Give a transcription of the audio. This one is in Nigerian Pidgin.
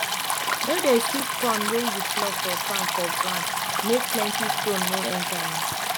no dey sweep corn wey you pluck for farm for gound make plenty stone no enter am